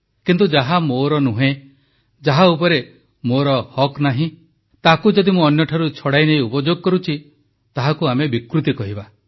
କିନ୍ତୁ ଯାହା ମୋର ନୁହେଁ ଯାହା ଉପରେ ମୋର ହକ୍ ନାହିଁ ତାହାକୁ ମୁଁ ଯଦି ଅନ୍ୟଠାରୁ ଛଡ଼ାଇନେଇ ଉପଯୋଗ କରୁଛି ତାହାକୁ ଆମେ ବିକୃତି କହିବା